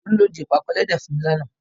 Tolú ló di ìpàkọ́ ẹlẹ́dẹ̀ fún mi lánàá.